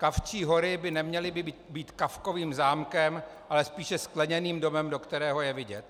Kavčí hory by neměly být víc Kafkovým zámkem, ale spíše skleněným domem, do kterého je vidět.